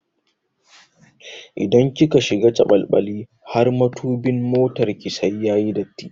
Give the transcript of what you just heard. Idan kika shiga caɓalɓali har matubin motarki sai yayi datti.